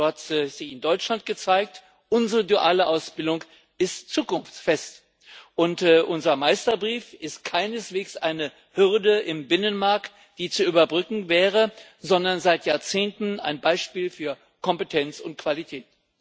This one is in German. So hat sich in Deutschland gezeigt Unsere duale Ausbildung ist zukunftsfest, und unser Meisterbrief ist keineswegs eine Hürde im Binnenmarkt, die zu überwinden wäre, sondern seit Jahrzehnten ein Beispiel für Kompetenz und Qualität.